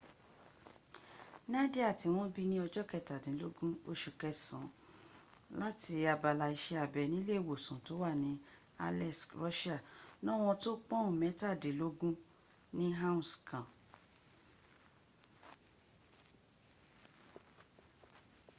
nadia tí wọ́n bí ní ọjọ́ kẹtàdínlógún oṣù kẹsàn án láti abala iṣẹ́ abẹ nílé ìwòsàn tó wà ní aleisk russia lówọn tó pọ́ùn mẹ́tàdínlógún ní áùnsì kan